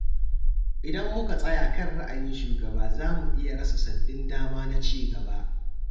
Idan muka tsaya kan ra'ayin shugaba za mu iya rasa sabbin dama na cigaba.